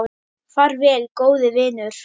Far vel, góði vinur.